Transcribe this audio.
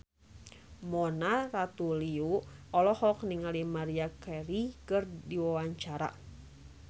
Mona Ratuliu olohok ningali Maria Carey keur diwawancara